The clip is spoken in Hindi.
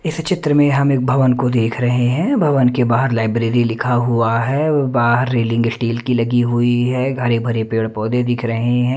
इस चित्र में हम एक भवन को देख रहे हैं भवन के बाहर लाइब्रेरी लिखा हुआ है बाहर रेलिंग स्टील की लगी हुई है घरे भरे पेड़ पौधे दिख रहे हैं।